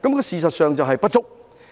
事實上，人手是不足的。